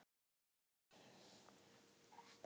Þú hefur nú ekki verið lengi forsætisráðherra?